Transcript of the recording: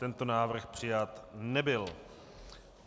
Tento návrh přijat nebyl.